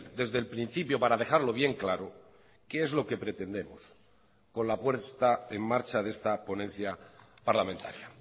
desde el principio para dejarlo bien claro qué es lo que pretendemos con la puesta en marcha de esta ponencia parlamentaria